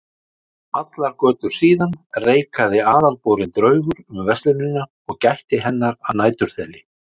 Allar götur síðan reikaði aðalborinn draugur um verslunina og gætti hennar að næturþeli.